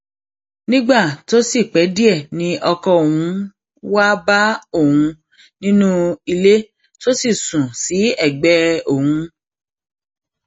nígbà tó sì pẹ díẹ ni ọkọ òun wáá bá òun nínú ilé tó sì sùn sí ẹgbẹ òun